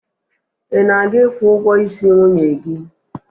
Ị na-aga ikwu ụgwọisi nwunye gị?